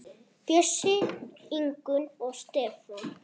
Bjössi, Ingunn og Stefán.